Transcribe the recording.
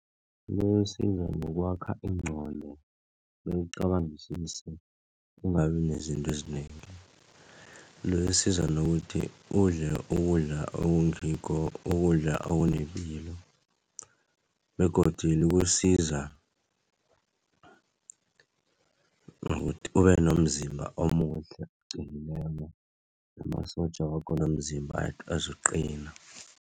Ngokwakha ingqondo bewucabangisise ungabi nezinto ezinengi. Loyo esiza nokuthi udle ukudla okungikho, ukudla okunepilo begodu likusiza ngokuthi ube nomzimba omuhle oqinileko, namasotja wakho womzimba azokuqina.